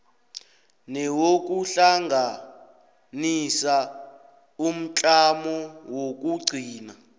newokuhlanganisa umtlamo wokugcina